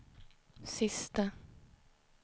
sista